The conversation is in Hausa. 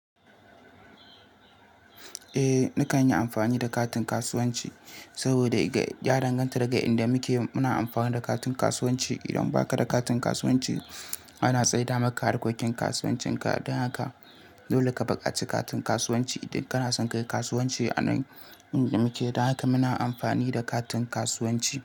Eh, ni kan yi amfani da katin kasuwanci saboda ya danganta daga inda muke muna amfani da katin kasuwanci. Idan baka da katin kasuwanci ana tsaida maka harkokin kasuwancin ka. Don haka dole ka buƙaci katin kasuwanci idan kana son ka yi kasuwanci a nan inda muke. Don haka muna amfani da katin kasuwanci.